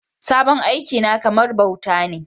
Sabon aiki na kamar bauta ne